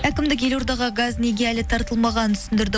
әкімдік елордаға газ неге әлі тартылмағанын түсіндірді